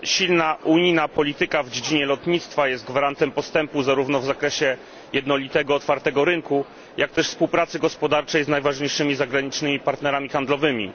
Silna unijna polityka w dziedzinie lotnictwa jest gwarantem postępu zarówno w zakresie jednolitego otwartego rynku, jak i współpracy gospodarczej z najważniejszymi zagranicznymi partnerami handlowymi.